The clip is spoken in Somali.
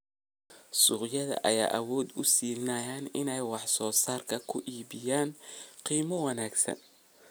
Suuqyadan ayaa awood u siinaya inay wax soo saarkooda ku iibiyaan qiimo wanaagsan.